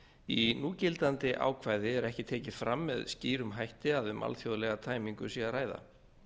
í núgildandi ákvæði er ekki tekið fram með skýrum hætti að um alþjóðlega tæmingu sé að ræða